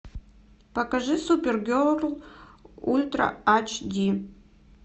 покажи супер герл ультра ач ди